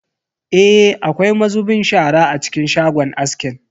Eh, akwai mazubin shara a cikin shagon askin.